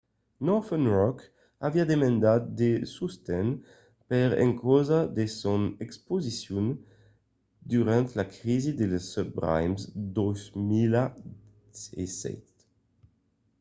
northern rock aviá demandat de sosten per encausa de son exposicion durant la crisi de las subprimes en 2007